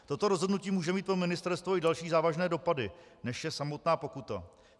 Toto rozhodnutí může mít pro ministerstvo i další závažné dopady, než je samotná pokuta.